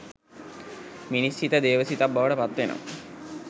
මිනිස් සිත දේව සිතක් බවට පත්වෙනවා